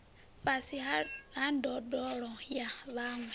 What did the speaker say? fhasi ha ndondolo ya vhaṅwe